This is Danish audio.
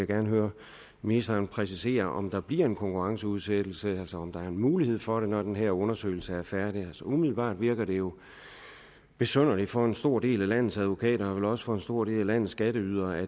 gerne høre ministeren præcisere om der bliver en konkurrenceudsættelse altså om der er mulighed for det når den her undersøgelse er færdig umiddelbart virker det jo besynderligt for en stor del af landets advokater og vel også for en stor del af landets skatteydere at